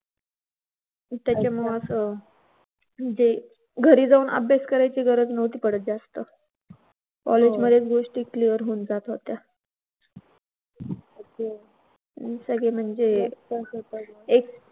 त्याच्यामुळेच म्हणजे घरी जाऊन अभ्यास करण्याची गरज नव्हती पडत जास्त. कॉलेजमध्ये गोष्टी clear होऊन जात होत्या. त्याचं म्हणजे एक